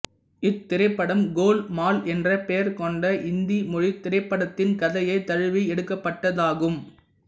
இத்திரைப்படம் கோல் மால் என்ற பெயர் கொண்ட இந்தி மொழித் திரைப்படத்தின் கதையைத் தழுவி எடுக்கப்பட்டதாகும்